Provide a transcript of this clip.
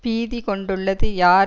பீதி கொண்டுள்ளது யார்